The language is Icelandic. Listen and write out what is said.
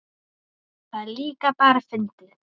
Það er líka bara fyndið.